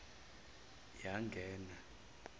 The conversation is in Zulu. yangena